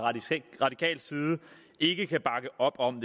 radikal side ikke kan bakke op om